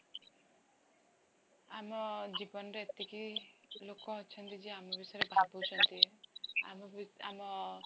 ଆମ ଜୀବନରେ ଏତିକି ଲୋକ ଅଛନ୍ତି ଯେ ଆମ ବିଷୟରେ ଭାବୁଛନ୍ତି ଆମ